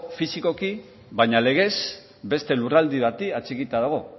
fisikoki baina legez beste lurralde bati atxikita dago